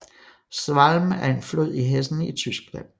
Schwalm er en flod i Hessen i Tyskland